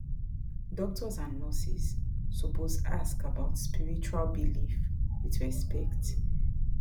doctors and nurses suppose ask about spiritual belief with respect